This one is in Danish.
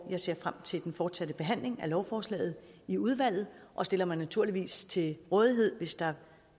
jeg ser frem til den fortsatte behandling af lovforslaget i udvalget og stiller mig naturligvis til rådighed hvis der